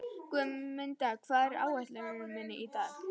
Guðmunda, hvað er á áætluninni minni í dag?